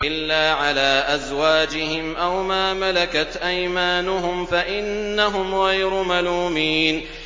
إِلَّا عَلَىٰ أَزْوَاجِهِمْ أَوْ مَا مَلَكَتْ أَيْمَانُهُمْ فَإِنَّهُمْ غَيْرُ مَلُومِينَ